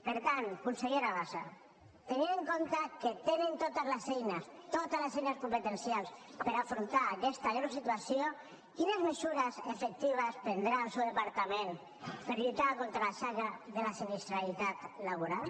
per tant consellera bassa tenint en compte que tenen totes les eines totes les eines competencials per afrontar aquesta greu situació quines mesures efectives prendrà el seu departament per lluitar contra la xacra de la sinistralitat laboral